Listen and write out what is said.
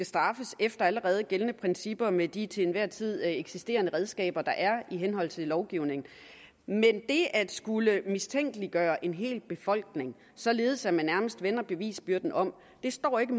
straffes efter allerede gældende principper med de til enhver tid eksisterende redskaber der er i henhold til lovgivningen men at skulle mistænkeliggøre en hel befolkning således at man nærmest vender bevisbyrden om står ikke